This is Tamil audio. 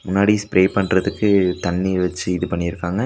முன்னாடி ஸ்ப்ரே பண்றதுக்கு தண்ணி வெச்சு இது பண்ணிருக்காங்க.